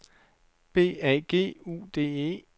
B A G U D E